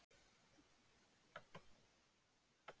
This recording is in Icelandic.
Jóhann Margrét Gísladóttir: Hvenær munið þið breyta þessu?